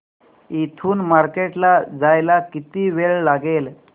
इथून मार्केट ला जायला किती वेळ लागेल